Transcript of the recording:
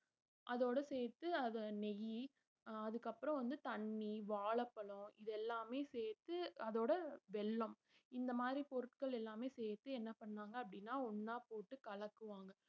அதோட சேர்த்து அத நெய்யி அஹ் அதுக்கப்புறம் வந்து தண்ணி வாழைப்பழம் இதெல்லாமே சேர்த்து அதோட வெல்லம் இந்த மாதிரி பொருட்கள் எல்லாமே சேர்த்து என்ன பண்ணாங்க அப்படின்னா ஒண்ணா போட்டு கலக்குவாங்க